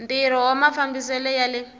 ntirho wa mafambisele ya le